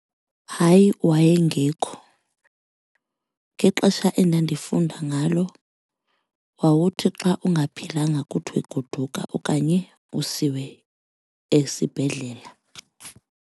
Hayi, wayengekho. Ngexesha endandifunda ngalo wawuthi xa ungaphilanga kuthiwe goduka okanye usiwe esibhedlela.